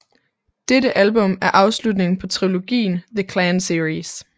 Dette album er afslutningen på trilogien The Clan series